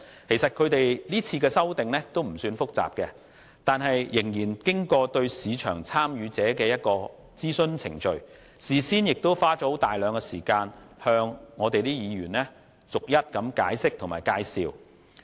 其實，今次修訂的條文內容不算複雜，但他們仍對市場參與者進行諮詢，事先亦花了大量時間向立法會議員逐一解釋和介紹。